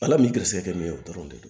Ala ni garisɛgɛ bɛ ye o dɔrɔn de don